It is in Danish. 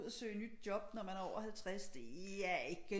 Ud og søge nyt job når man er over 50 det er ikke